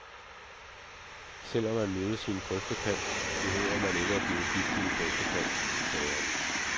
Selv om man mødes i en grøftekant, behøver man ikke at blive gift i en grøftekant, sagde han.